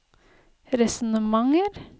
resonnementer